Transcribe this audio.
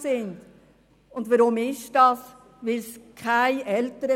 Weshalb besteht diese Situation?